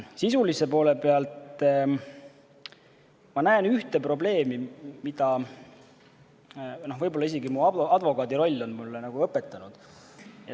Sisulise poole pealt ma näen ühte probleemi, mida võib-olla isegi advokaadiroll on mulle õpetanud.